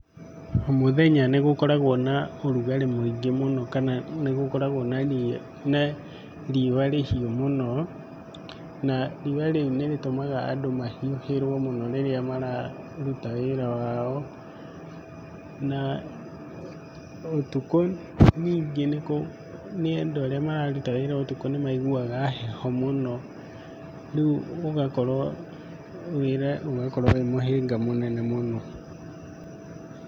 omũthenya nĩgũkoragwo na ũrugarĩ mũingĩ mũno, kana nĩgũkoragwo na riũa rĩhiũ mũno. Na riũa rĩu nĩrĩtũmaga mũndũ mahiũhĩrwo mũno rĩrĩa mararuta mawĩra mao. Na ũtukũ nyingĩ nĩ, andũ arĩa mararuta wĩra ũtukũ nĩmaiguaga heho mũno. Rĩu wĩra ũgakorwo wĩmũhĩnga mũnene mũno.